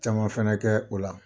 Caman fɛnɛ kɛ o la